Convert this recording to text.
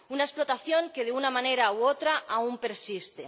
una explotación que, de una manera u otra, aún persiste.